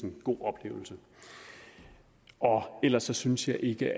en god oplevelse ellers synes jeg ikke